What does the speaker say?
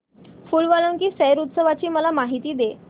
फूल वालों की सैर उत्सवाची मला माहिती दे